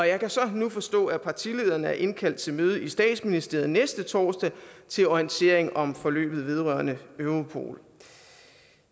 jeg kan så nu forstå at partilederne er indkaldt til møde i statsministeriet næste torsdag til orientering om forløbet vedrørende europol